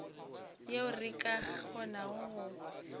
yeo re ka kgonago go